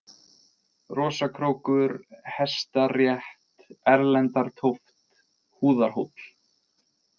Rosakrókur, Hestarétt, Erlendartóft, Húðarhóll